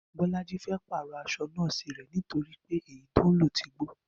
Bó̩lájí fé̩ pàrò̩ as̩o̩ nó̩ò̩sì rè̩ nítorí pé èyí tó ń lò ti gbó